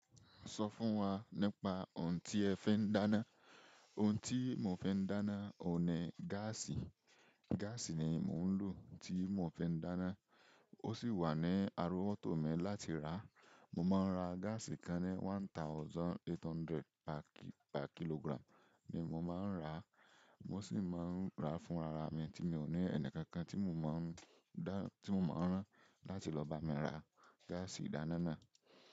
Sọ fún wa nípa ohun tí ẹ fi ń dáná. Ohun tí mò ń fi dáná òun ní gáàsì. Gáàsì ni mò ń lò tí mò ń fi n dáná. Ó sì wà ní arowọ́tò mi láti rà. Mò máa ń ra gáàsì kan ní one thousand eight hundred per kilogram ni mò maa ń rà. Mo sì máa ń rà fún ara mi tí mi ò ní ẹnì kankan tí mò ń máa rán láti lọ bá mi ra gáàsì ìdáná náà.